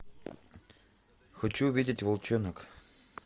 хочу увидеть волчонок